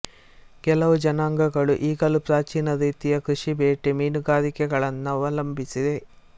ಕೆಲವು ಜನಾಂಗಗಳು ಈಗಲೂ ಪ್ರಾಚೀನ ರೀತಿಯ ಕೃಷಿ ಬೇಟೆ ಮೀನುಗಾರಿಕೆಗಳನ್ನವಲಂಬಿಸಿವೆ